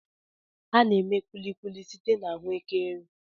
A na-eme Kulikuli site na Ahụekere.